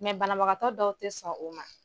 banabagatɔ dɔw te sɔn o ma.